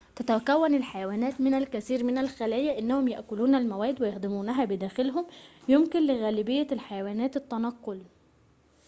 تتكون الحيوانات من الكثير من الخلايا إنهم يأكلون المواد ويهضمونها بداخلهم يمكن لغالبية الحيوانات التنقل